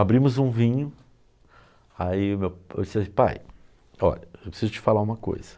Abrimos um vinho, aí eu disse assim, pai, olha, eu preciso te falar uma coisa.